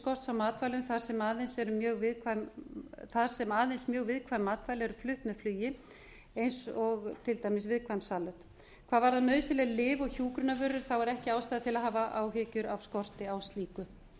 skorts á matvælum þar sem aðeins mjög viðkvæm matvæli eru flutt með flugi eins og til dæmis viðkvæm salöt hvað varðar lyf og hjúkrunarvörur er ekki nauðsynlegt að hafa ástæður af skorti á slíku